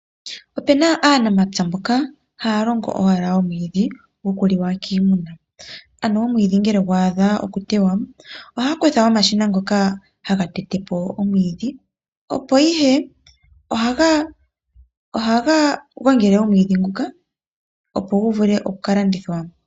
Opena aanamapya mboka haalongo owala omwiidhi gokuliwa kiiimuna. Ano omwiidhi ngele gwaadha okutewa, oohaakutha omashina ngoka hagatetepo omwiidhi. Opo ihe, oohagagongele omwiidhi nguka opo guvule okuka landithwa.